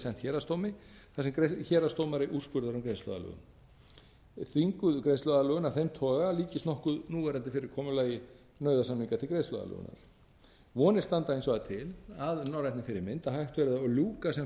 héraðsdómi þar sem héraðsdómari úrskurðar um greiðsluaðlögun þvinguð greiðsluaðlögun af þeim toga líkist nokkuð núverandi fyrirkomulagi nauðasamninga til greiðsluaðlögunar vonir standa hins vegar til að norrænni fyrirmynd að hægt verði að ljúka sem